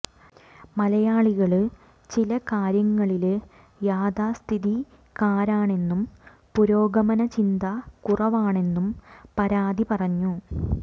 മലയാളികള് ചില കാര്യങ്ങളില് യാഥാസ്ഥിതികരാണെന്നും പുരോഗമന ചിന്ത കുറവാണെന്നും പാര്വതി പറഞ്ഞു